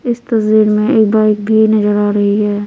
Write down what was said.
इस तस्वीर में एक बाइक भी नजर आ रही है।